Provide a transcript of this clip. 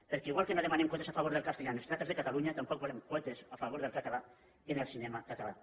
perquè igual que no demanem quotes a favor del castellà en les sales de catalunya tampoc volem quotes a favor del català en el cinema català